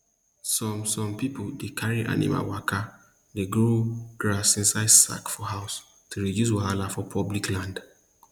some some people dey carry animal waka dey grow grass inside sack for house to reduce wahala for public land